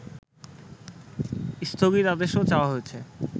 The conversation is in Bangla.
স্থগিতাদেশও চাওয়া হয়েছে